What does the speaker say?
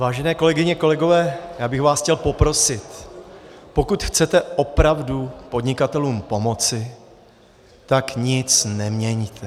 Vážené kolegyně, kolegové, já bych vás chtěl poprosit, pokud chcete opravdu podnikatelům pomoci, tak nic neměňte!